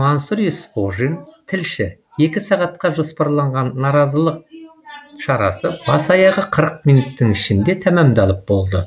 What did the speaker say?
мансұр есқожин тілші екі сағатқа жоспарланған наразылық шарасы бас аяғы қырық минуттың ішінде тәмамдалып болды